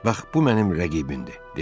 Bax bu mənim rəqibimdir, dedi.